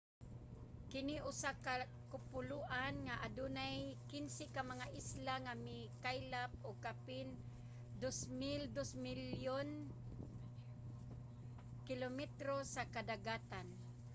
kini usa ka kapuloan nga adunay 15 ka mga isla nga mikaylap og kapin 2.2 milyon km2 sa kadagatan